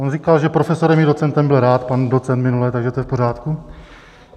On říkal, že profesorem i docentem byl rád, pan docent minule, takže to je v pořádku.